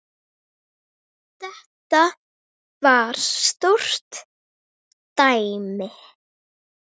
Þetta var stórt dæmi.